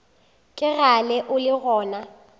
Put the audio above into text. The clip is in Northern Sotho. ke kgale o le gona